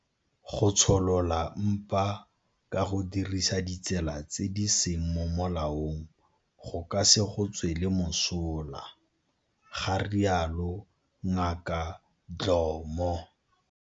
Go tsholola mpa ka go dirisa ditsela tse di seng mo molaong go ka se go tswele mosola, ga rialo Ngaka Dhlomo.